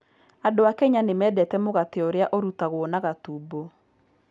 Andũ a Kenya nĩ mendete mũgate ũrĩa ũrutagwo na gatumbũ.